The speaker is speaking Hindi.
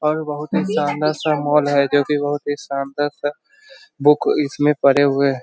और बहुत ही शानदार सा माल है जो कि बहुत ही शानदार सा बुक इसमें पड़े है।